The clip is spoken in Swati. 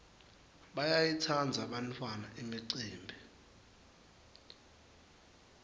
bayayitsandza bantfwana imicimbi